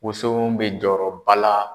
Woso bɛ jɔyɔrɔba la